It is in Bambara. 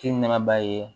Kini nama ye